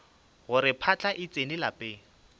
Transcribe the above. gore phahla e tsene lapeng